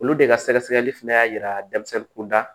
Olu de ka sɛgɛsɛgɛli fana y'a yira denmisɛnnin kunda